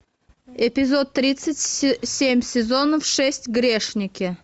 эпизод тридцать семь сезона шесть грешники